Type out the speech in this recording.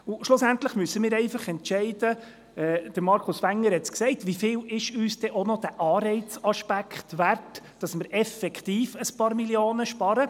Schliesslich müssen wir einfach entscheiden, Markus Wenger hat es gesagt, wie viel uns auch noch dieser Aspekt des Anreizes wert ist, damit wir effektiv ein paar Millionen sparen.